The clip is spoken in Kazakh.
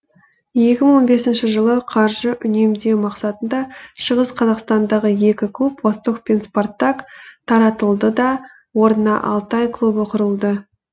екі мың он бесінші жылы қаржы үнемдеу мақсатында шығыс қазақстандағы екі клуб восток пен спартак таратылды да орнына алтай клубы құрылды